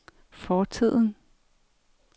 fortiden